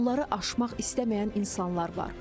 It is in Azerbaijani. Onları aşmaq istəməyən insanlar var.